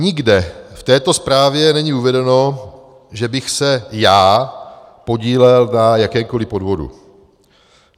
Nikde v této zprávě není uvedeno, že bych se já podílel na jakémkoliv podvodu.